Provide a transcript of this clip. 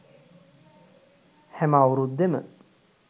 හැම අවුරුද්දෙම.